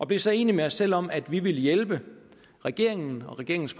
blev så enige med os selv om at vi ville hjælpe regeringen og regeringens